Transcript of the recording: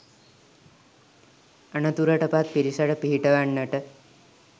අනතුරටපත් පිරිසට පිහිට වෙන්නට